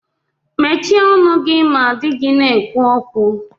Mechie ọnụ gị ma dị gị na-ekwu okwu